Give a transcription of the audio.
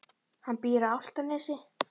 Hann býr á Álftanesi.